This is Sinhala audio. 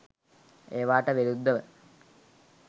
ඒවාට විරුද්ධව